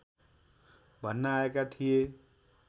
भन्न आएका थिए